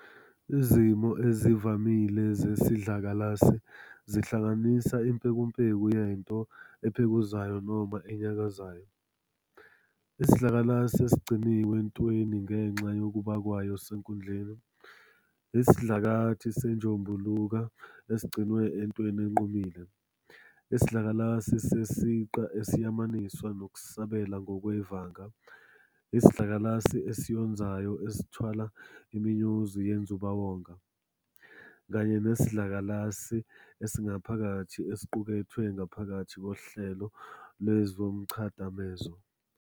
Izimo ezivamile zesidlakalasi zihlanganisa impekumpeku yento ephekuzayo noma enyakazayo, isidlakalasi esigcinwe entweni, ngenxa yokuba kwayo senkundleni, isidlakathi senjombuluka esigcinwe entweni enqumile, isidlakalasi sesiqa esiyamaniswa nokusabela ngokwevanga, isidlakalasi esiyonzayo esithwalwa imiyonzi yenzubawonga, kanye nesidlakalasi esingaphakathi esiqukethwe ngaphakathi kohlelo lwezomchadamezo.